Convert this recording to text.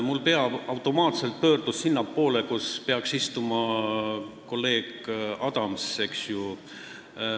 Mu pea pöördus automaatselt sinnapoole, kus peaks istuma kolleeg Adams.